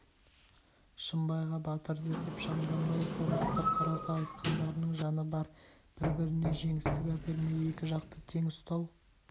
шымбайға батырды деп шамданбай салмақтап қараса айтқандарының жаны бар бір-біріне жеңістік әпермей екі жақты тең ұстау